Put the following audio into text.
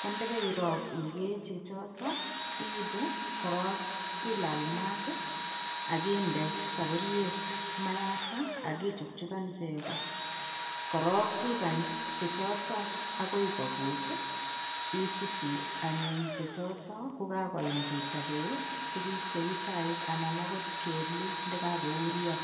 ko ndekeirok ikee chechoto iibu koro ilal mat akinde sapuriet mayata akichukchukan cheko korok ikany chechoto akoi kokut isutu anyun chechoto kokakoim kechobee tukun cheu chaik ana akot kelu kokakouryo